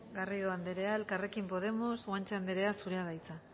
garrido andrea elkarrekin podemos guanche andrea zurea da hitza